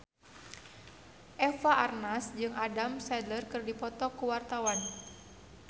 Eva Arnaz jeung Adam Sandler keur dipoto ku wartawan